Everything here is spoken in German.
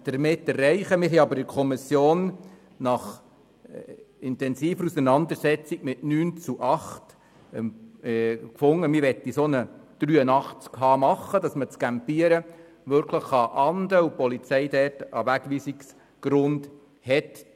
Wir fanden aber in der Kommission nach intensiver Auseinandersetzung mit 9 zu 8 Stimmen, dass wir einen Artikel 83 Absatz 1 Buchstabe h machen wollen, damit man das Campieren wirklich ahnden kann und die Polizei einen Wegweisungsgrund hat.